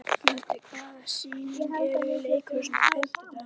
Gaddi, hvaða sýningar eru í leikhúsinu á fimmtudaginn?